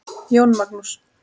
Jón Magnús.